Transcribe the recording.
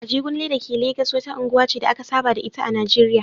Ajegunle da ke Legas wata unguwa ce da aka saba da ita a Najeriya